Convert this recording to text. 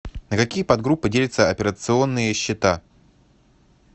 на какие подгруппы делятся операционные счета